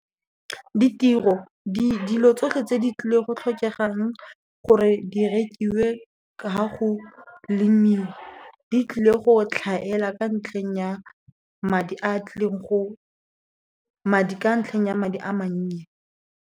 Ditiro dilo tsotlhe tse di tlileng go tlhokegang gore di rekiwe ka go lemiwa, di tlile go tlhaela ka ntlheng ya madi a tlileng go, ka ntlheng ya madi a mannye.